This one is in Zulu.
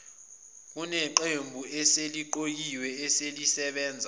kuneqembu eseliqokiwe elisebenza